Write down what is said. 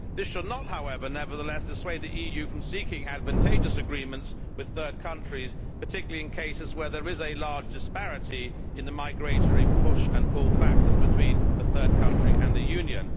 This should not, however, dissuade the EU from seeking advantageous agreements with third countries, particularly in cases where there is a large disparity in the migratory push and pull factors between the third country and the Union.